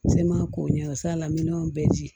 N se ma ko ɲɛ s'ala minɛnw bɛɛ ji